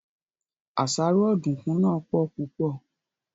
Àṣàrò Ọ̀dùnkún náà pò púpò